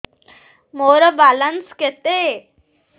ମୋର ବାଲାନ୍ସ କେତେ